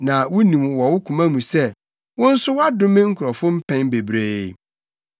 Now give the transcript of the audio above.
na wunim wɔ wo koma sɛ wo nso woadome nkurɔfo mpɛn bebree.